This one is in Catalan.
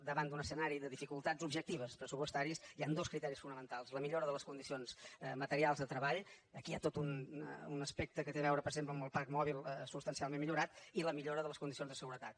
davant d’un escenari de dificultats objectives pressupostàries hi han dos criteris fonamentals la millora de les condicions materials de treball aquí hi ha tot un aspecte que té a veure per exemple amb el parc mòbil substancialment millorat i la millora de les condicions de seguretat